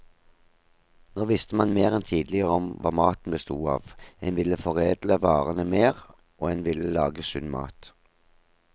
Nå visste man mer enn tidligere om hva maten bestod av, en ville foredle varene mer, og en ville lage sunn mat.